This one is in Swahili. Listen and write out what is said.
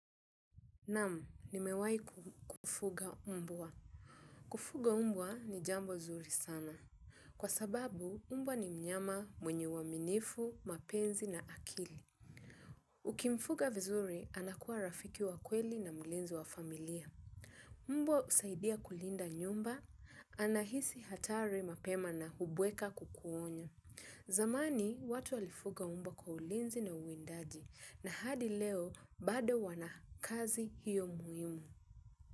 Naam, nimewai kufuga mbwa. Kufuga umbwa ni jambo zuri sana. Kwa sababu umbwa ni mnyama mwenye uaminifu, mapenzi na akili. Ukimfuga vizuri, anakuwa rafiki wa kweli na mlinzi wa familia. Mbwa usaidia kulinda nyumba, anahisi hatari mapema na kubweka kukuonya. Zamani, watu walifuga umbwa kwa ulinzi na uwindaji. Na hadi leo, bado wana kazi hiyo muhimu.